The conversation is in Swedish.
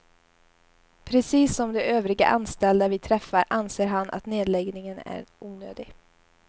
Precis som de övriga anställda vi träffar, anser han att nedläggningen är onödig.